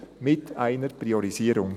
mit einer Priorisierung.»